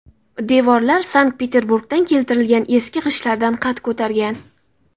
Devorlar Sankt-Peterburgdan keltirilgan eski g‘ishtlardan qad ko‘targan.